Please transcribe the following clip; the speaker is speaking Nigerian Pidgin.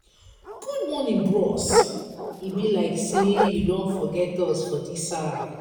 good morning bros e be like sey you don forget us for dis side.